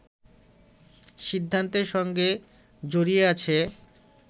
সিদ্ধান্তের সঙ্গে জড়িয়ে আছে